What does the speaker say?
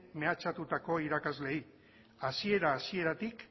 mehatxatutako irakasleei hasiera hasieratik